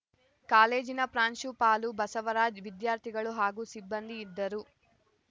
ಕಾಲೇಜಿನ ಪ್ರಾಂಶುಪಾಲ ಬಸವರಾಜ್‌ ವಿದ್ಯಾರ್ಥಿಗಳು ಹಾಗೂ ಸಿಬ್ಬಂದಿ ಇದ್ದರು